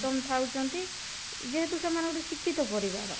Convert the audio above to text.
ଥାଉ ଛନ୍ତି ଯେହେତୁ ସେମାନେ ଗୋଟେ ଶିକ୍ଷିତ ପରିବାର